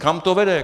Kam to vede?